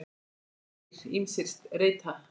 HÁRIÐ argir ýmsir reyta.